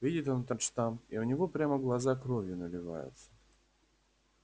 видит он этот штамп и у него прямо глаза кровью наливаются